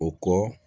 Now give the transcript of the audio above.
O kɔ